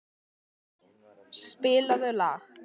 Maggý, spilaðu lag.